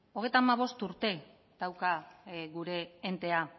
hogeita hamabost urte dauka gure enteak